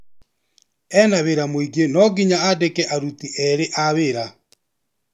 Ena wĩra mingĩ nonginya andĩke aruti erĩ a wĩra.